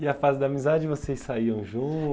E a fase da amizade, vocês saíam